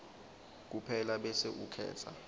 kuphela bese ukhetsa